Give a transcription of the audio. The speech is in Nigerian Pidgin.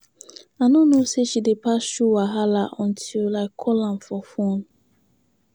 I no know sey she dey pass through wahala until I call am for fone.